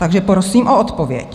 Takže prosím o odpověď.